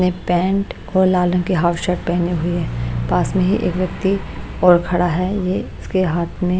ने पैंट और लाल रंग की हाफ शर्ट पहनी हुई है पास में ही एक व्यक्ति और खड़ा है ये इसके हाथ में--